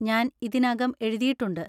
ഞാൻ ഇതിനകം എഴുതിയിട്ടുണ്ട്.